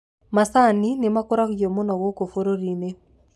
macani nĩmakũragio mũno gũkũ bũrũrinĩ